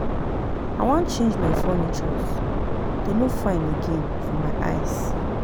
I wan change my furnitures, dey no fine again for my eyes